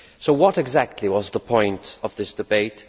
What exactly was the point of this debate?